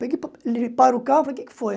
Peguei para ele o carro e falei, o que é que foi?